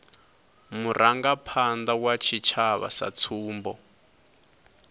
vharangaphanda vha tshitshavha sa tsumbo